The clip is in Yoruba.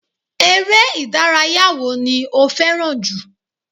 Eré ìdárayá wo ni fẹ́ràn jù